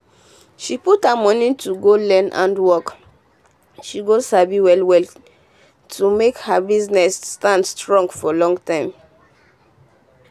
um she put her money to go learn handworkso she go sabi um wella to make her um business stand strong for long.